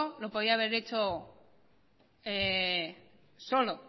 lo podía haber hecho solo